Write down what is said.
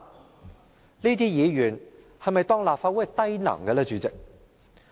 主席，這些議員是否當立法會是低能呢？